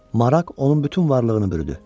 Maraq onun bütün varlığını bürüdü.